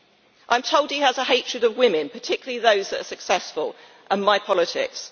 I am told he has a hatred of women, particularly those who are successful, and my politics.